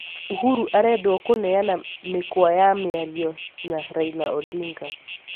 uhuru arendwo kũneana mĩkwa ya mĩario na Raila Odinga